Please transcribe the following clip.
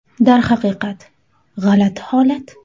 Darhaqiqat, g‘alati holat.